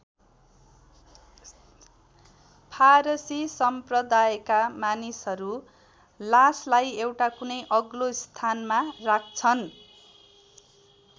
फारसी सम्प्रदायका मानिसहरू लासलाई एउटा कुनै अग्लो स्थानमा राख्छन्।